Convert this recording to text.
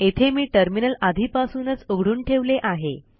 येथे मी टर्मिनल आधीपासूनच उघडून ठेवले आहे